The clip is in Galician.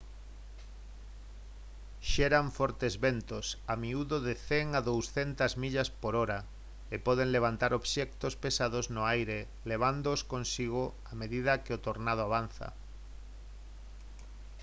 xeran fortes ventos a miúdo de 100 a 200 millas/hora e poden levantar obxectos pesados no aire levándoos consigo a medida que o tornado avanza